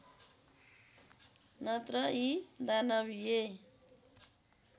नत्र यी दानविय